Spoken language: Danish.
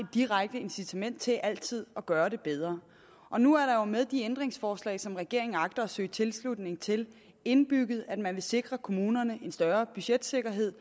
et direkte incitament til altid at gøre det bedre og nu er der jo med de ændringsforslag som regeringen agter at søge tilslutning til indbygget det at man vil sikre kommunerne en større budgetsikkerhed